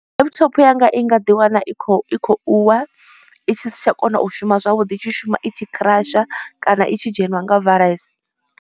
Laptop yanga i nga ḓi wana i kho i khou wa i si tsha kona u shuma zwavhuḓi i tshi shuma i tshi crash kana i tshi dzheniwa nga virus.